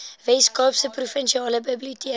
weskaapse provinsiale biblioteke